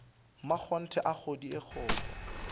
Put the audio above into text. mmakgonthe a kgodi a kgokgo